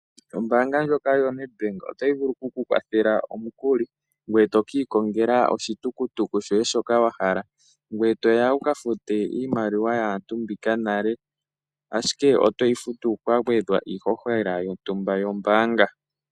Ombaanga ndyoka yoNedbank otayi vulu okukukwathela omukuli ngoye to kiikongela oshitukutuku shoye shoka wahala ngoye toya wuka fute iimaliwa yaantu mbika nale ashike otoyi futu kwagwedhwa iishoshela yontumba yombaanga.